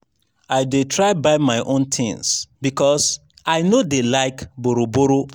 i dey try buy my own tins because i no dey like borrow-borrow.